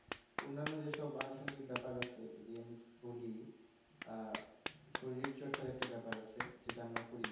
অন্যান্য যে সব আনুসঙ্গিক ব্যাপার আছে যদি আমি বলি আহ শরীর চর্চার একটা ব্যাপার আছে যেটা আমরা করিনা